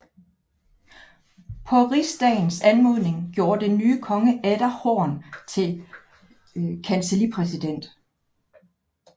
På rigsdagens anmodning gjorde den nye konge atter Horn til kancellipræsident